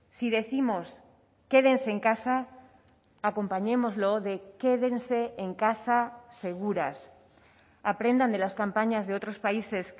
si décimos quédense en casa acompañémoslo de quédense en casa seguras aprendan de las campañas de otros países